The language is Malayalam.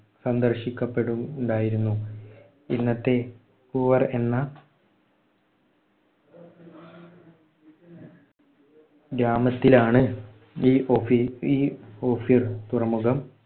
സന്ദർശിക്കപ്പെടു ഉണ്ടായിരുന്നു. ഇന്നത്തെ പൂവാർ എന്ന ഗ്രാമത്തിലാണ് ഈ ഒഫി ഈ ഓഫീർ തുറമുഖം